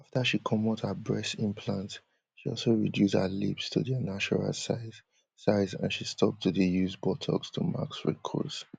afta she comot her breast implants she also reduce her lips to dia natural size size and she stop to dey use botox to mask wrinkles